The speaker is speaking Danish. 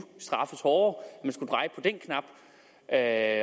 straffes hårdere at